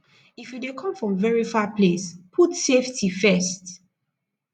if you dey come from very far place put safety first